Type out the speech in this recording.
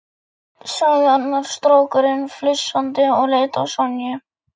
sagði annar strákurinn flissandi og leit á Sonju.